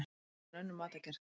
Frekar en önnur matargerð.